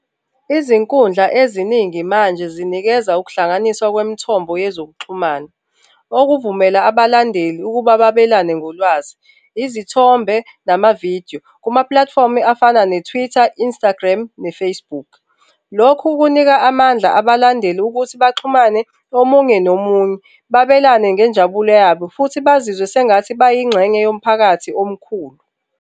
Izinkundla eziningi manje zinikeza ukuhlanganiswa kwemithombo yezokuxhumana, okuvumela abalandeli ukuba babelane ngolwazi, izithombe, namavidiyo kumapulatifomu afana ne-Twitter, Instagram ne-Facebook. Lokhu kunika amandla abalandeli ukuthi baxhumane omunye nomunye, babelane ngenjabulo yabo futhi bazizwe sengathi bayingxenye yomphakathi omkhulu.